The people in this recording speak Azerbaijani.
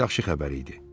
Bu yaxşı xəbər idi.